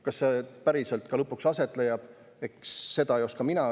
Kas see päriselt lõpuks aset leiab, seda mina ei oska öelda.